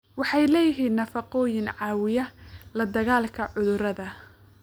Waxay leeyihiin nafaqooyin caawiya la dagaalanka cudurada.